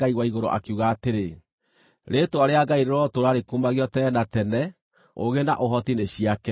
akiuga atĩrĩ: “Rĩĩtwa rĩa Ngai rĩrotũũra rĩkumagio tene na tene; ũũgĩ na ũhoti nĩ ciake.